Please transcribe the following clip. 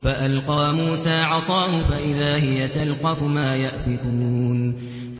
فَأَلْقَىٰ مُوسَىٰ عَصَاهُ فَإِذَا هِيَ تَلْقَفُ مَا يَأْفِكُونَ